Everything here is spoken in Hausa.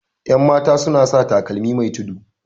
yanmata suna sa takalmi Mai tudu